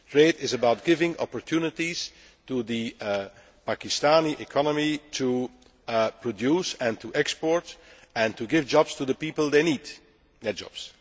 Trade is about giving opportunities to the Pakistani economy to produce and to export and to give jobs to the people that need those